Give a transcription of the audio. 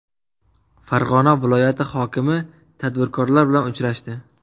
Farg‘ona viloyati hokimi tadbirkorlar bilan uchrashdi.